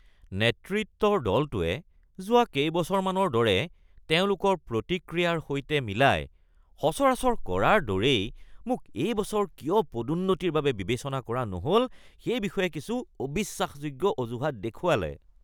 নেতৃত্বৰ দলটোৱে যোৱা কেইবছৰমানৰ দৰে তেওঁলোকৰ প্ৰতিক্ৰিয়াৰ সৈতে মিলাই সচৰাচৰৰ কৰাৰ দৰেই মোক এই বছৰ কিয় পদোন্নতিৰ বাবে বিবেচনা কৰা নহ’ল সেই বিষয়ে কিছু অবিশ্বাসযোগ্য অজুহাত দেখুৱালে। (কৰ্মচাৰী ২)